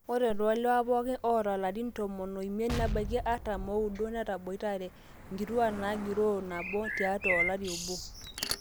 ore toolewa pooki oota ilarin tomon oimiet nebaiki artam ooudo netaboitare inkituak naagiroo nabo tiatwa olari obo